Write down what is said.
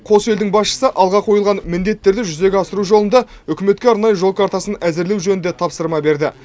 қос елдің басшысы алға қойылған міндеттерді жүзеге асыру жолында үкіметке арнайы жол картасын әзірлеу жөнінде тапсырма берді